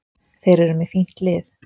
Þeir eru með fínt lið.